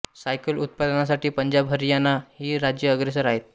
cycle उत्पादनासाठी पंजाब हरियाणा ही राज्ये अग्रेसर आहेत